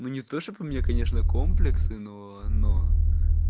ну не то чтоб у мне конечно комплексы но но